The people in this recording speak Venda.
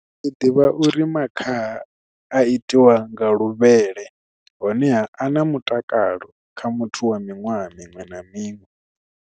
Ndi ḓivha uri makhaha a itiwa nga luvhele honeha a na mutakalo kha muthu wa miṅwaha miṅwe na miṅwe.